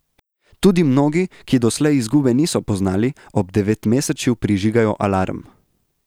Tudi mnogi, ki doslej izgube niso poznali, ob devetmesečju prižigajo alarm.